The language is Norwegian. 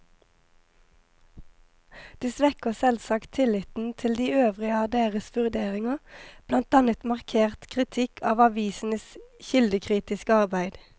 Det svekker selvsagt tilliten til de øvrige av deres vurderinger, blant annet markert kritikk av avisenes kildekritiske arbeid.